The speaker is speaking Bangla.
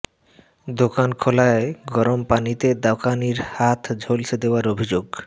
দোকান খোলায় গরম পানিতে দোকানির হাত ঝলসে দেওয়ার অভিযোগ